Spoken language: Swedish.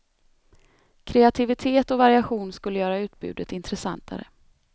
Kreativitet och variation skulle göra utbudet intressantare.